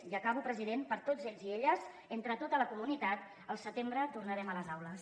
ja acabo president per tots ells i elles entre tota la comunitat al setembre tornarem a les aules